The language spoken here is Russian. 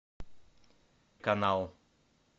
канал